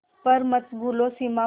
पर मत भूलो सीमा पर